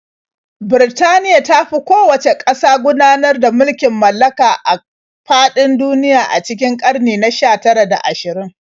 Birtaniya ta fi kowacce ƙasa gudanar da mulkin mallaka a faɗin duniya a cikin ƙarni na 19 da 20.